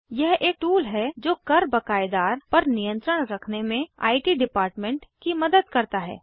यह एक टूल है जो कर बक़ायदार पर नियंत्रण रखने में इत डेप्ट की मदद करता है